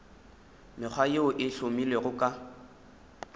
mekgwa yeo e hlomilwego ka